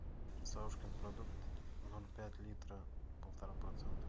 савушкин продукт ноль пять литра полтора процента